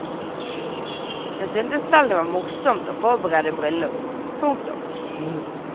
Hun syntes selv det var morsomt å forberede bryllup. punktum